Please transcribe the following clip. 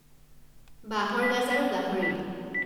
বাঁহৰ গাজ আৰু গাহৰি